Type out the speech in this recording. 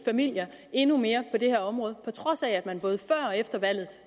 familier endnu mere på det her område på trods af at man både før og efter valget